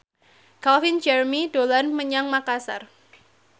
Calvin Jeremy dolan menyang Makasar